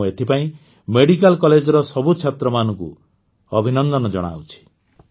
ମୁଁ ଏଥିପାଇଁ ମେଡ଼ିକାଲ କଲେଜର ସବୁ ଛାତ୍ରମାନଙ୍କୁ ଅଭିନନ୍ଦନ ଜଣାଉଛି